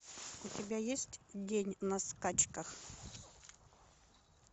у тебя есть день на скачках